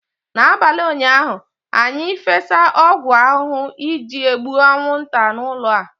n'abalị ụnyaahụ, anyị fesa ọgwụ ahụhụ iji gbuo anwụnta n'ụlọ a